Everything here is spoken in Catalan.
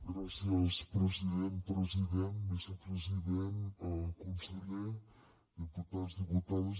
gràcies president president vicepresident conseller diputats diputades